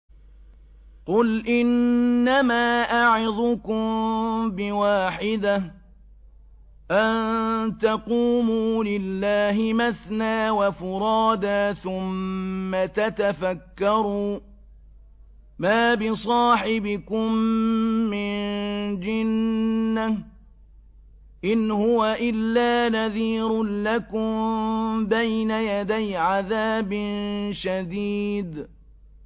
۞ قُلْ إِنَّمَا أَعِظُكُم بِوَاحِدَةٍ ۖ أَن تَقُومُوا لِلَّهِ مَثْنَىٰ وَفُرَادَىٰ ثُمَّ تَتَفَكَّرُوا ۚ مَا بِصَاحِبِكُم مِّن جِنَّةٍ ۚ إِنْ هُوَ إِلَّا نَذِيرٌ لَّكُم بَيْنَ يَدَيْ عَذَابٍ شَدِيدٍ